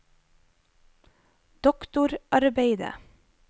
doktorarbeidet